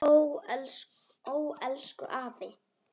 Ó elsku afi.